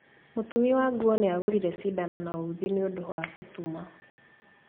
Mũtumi wa nguo nĩagũrire cindano na uthi nĩũndũ wa gũtuma